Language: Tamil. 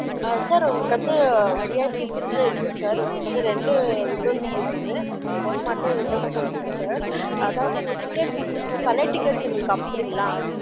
அ sir உங்களுக்கு வந்து VIP seat ஏ இருகுது sir உங்களுக்கு வந்து ரெண்டு window seat இருகுது ஒன்னு மட்டும் window seat இல்ல sir அதாவது உங்க ticket உங்க பலய tickets எங்களுக்கு அனுபுரிங்கலா